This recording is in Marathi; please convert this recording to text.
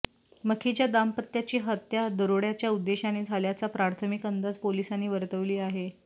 मखिजा दाम्पत्याची हत्या दरोड्याच्या उद्देशाने झाल्याचा प्राथमिक अंदाज पोलिसांनी वर्तवली आहे